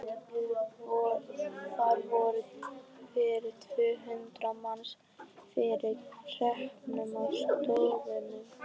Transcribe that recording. Þar voru yfir tvö hundruð manns þegar hreppurinn var stofnaður.